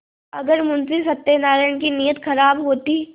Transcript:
अगर मुंशी सत्यनाराण की नीयत खराब होती